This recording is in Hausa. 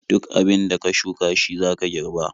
Duk abin da ka shuka shi zaka girba.